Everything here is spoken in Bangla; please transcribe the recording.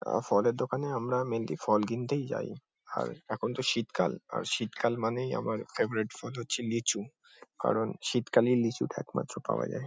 আ ফলের দোকানে আমরা মেইনলি ফল কিনতেই যাই আর এখন তো শীতকাল আর শীতকাল মানেই আমার ফেভরেট ফল হচ্ছে লিচু কারণ শীতকালেই লিচুটা একমাত্র পাওয়া যায়।